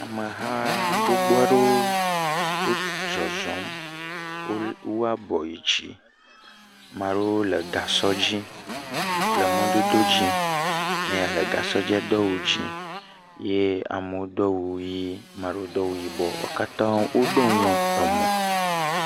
Ameha gbogbo aɖewo wo zɔzɔm. Wo le wu abɔ yi dzi. Ame aɖewo le gasɔ dzi le mɔdodo dzi. Meya le gasɔ dzia do awu dzi ye ameawo do awu dzi ame aɖewo do awu yibɔ wo katã woɖo nu emo.